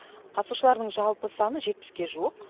қатысушылардың жалпы саны жетпіске жуық